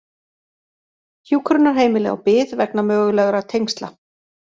Hjúkrunarheimili á bið vegna mögulegra tengsla